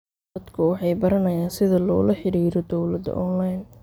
Dadku waxay baranayaan sida loola xidhiidho dawladda onlayn.